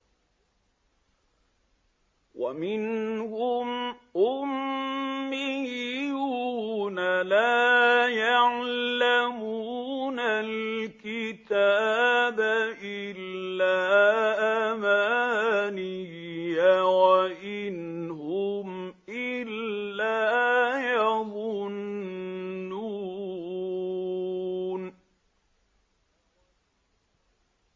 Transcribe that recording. وَمِنْهُمْ أُمِّيُّونَ لَا يَعْلَمُونَ الْكِتَابَ إِلَّا أَمَانِيَّ وَإِنْ هُمْ إِلَّا يَظُنُّونَ